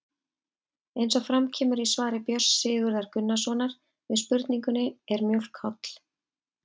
Eins og fram kemur í svari Björns Sigurðar Gunnarssonar við spurningunni Er mjólk holl?